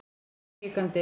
Hann er hikandi.